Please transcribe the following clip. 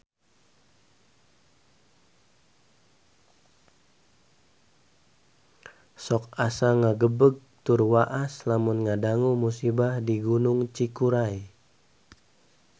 Sok asa ngagebeg tur waas lamun ngadangu musibah di Gunung Cikuray